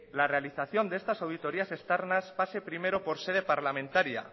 la realización de estas auditorías externas pase primero por sede parlamentaria